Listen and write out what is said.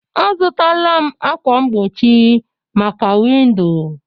Azụtaala m ákwà mgbochi maka windo